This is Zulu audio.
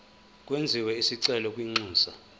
kwenziwe isicelo kwinxusa